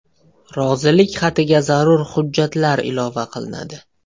Rozilik xatiga zarur hujjatlar ilova qilinadi.